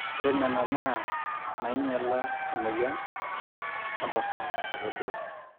ore nena naa nainyala emweyian ontorrok ake duo